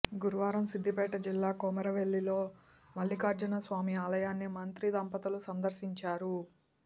గురువారం సిద్దిపేట జిల్లా కొమురవెల్లిలో మల్లికార్జునస్వామి ఆలయాన్ని మంత్రి దంపతులు సందర్శించారు